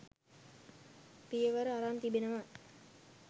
පියවර අරන් තිබෙනවා.